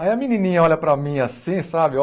Aí a menininha olha para mim assim, sabe?